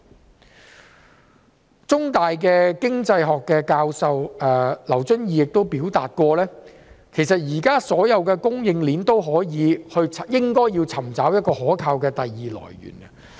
香港中文大學經濟學教授劉遵義亦曾表示，現時所有供應鏈也應尋找一個可靠的第二來源。